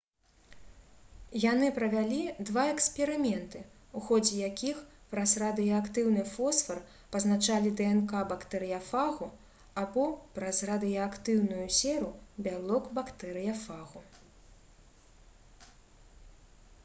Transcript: яны правялі два эксперыменты у ходзе якіх праз радыеактыўны фосфар пазначалі днк бактэрыяфагу або праз радыеактыўную серу бялок бактэрыяфагу